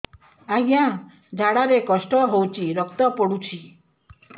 ଅଜ୍ଞା ଝାଡା ରେ କଷ୍ଟ ହଉଚି ରକ୍ତ ପଡୁଛି